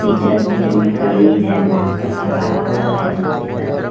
Teacher बीच मे खड़ी है मास्क लगा हुआ है नीचे करके।